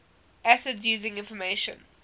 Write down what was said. acids using information